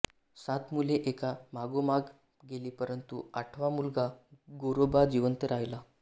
सात मुले एका मागोमाग गेली परंतु आठवा मुलगा गोरोबा जिवंत राहिला